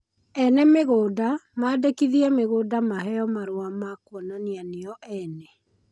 Ene mĩgũnda mandĩkithie mĩgũnda maheo marũa ma kuonania nio ene